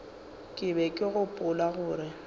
ke be ke gopola gore